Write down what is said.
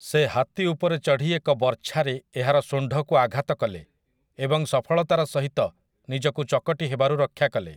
ସେ ହାତୀ ଉପରେ ଚଢ଼ି ଏକ ବର୍ଚ୍ଛାରେ ଏହାର ଶୁଣ୍ଢକୁ ଆଘାତ କଲେ, ଏବଂ ସଫଳତାର ସହିତ ନିଜକୁ ଚକଟି ହେବାରୁ ରକ୍ଷା କଲେ ।